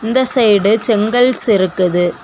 இந்த சைடு செங்கல்ஸ் இருக்குது.